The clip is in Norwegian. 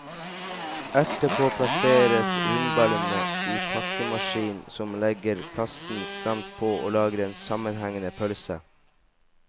Etterpå plasseres rundballene i pakkemaskinen, som legger plasten stramt på og lager en sammenhengende pølse.